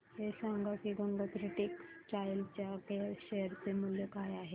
हे सांगा की गंगोत्री टेक्स्टाइल च्या शेअर चे मूल्य काय आहे